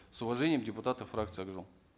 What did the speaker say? с уважением депутаты фракции ак жол